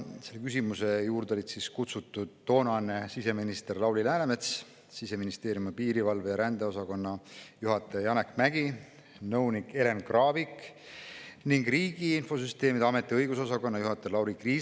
Selle küsimuse juurde olid kutsutud toonane siseminister Lauri Läänemets, Siseministeeriumi piirivalve‑ ja rändeosakonna juhataja Janek Mägi, nõunik Elen Kraavik ning Riigi Infosüsteemi Ameti õigusosakonna juhataja Lauri Kriisa.